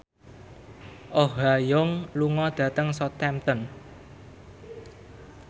Oh Ha Young lunga dhateng Southampton